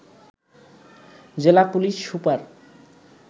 জেলা police super